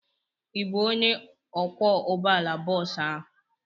Ị bụ onye ọkwọ ụgbọala bọọsu ahụ?